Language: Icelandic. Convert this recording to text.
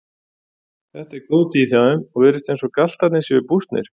Þetta er góð tíð hjá þeim og virðist eins og galtarnir séu bústnir.